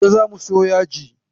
Gobe za mu siyo yaji.